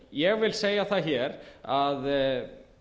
ég vil segja það hér að